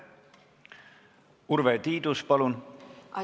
Urve Tiidus, palun!